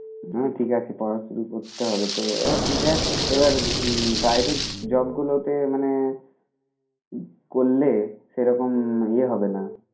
হ্যাঁ ঠিক আছে পড়া শুরু করতে হবে তো এবার দেখ এবার হুম private job গুলোতে মানে করলে সেরকম ইয়ে হবে না.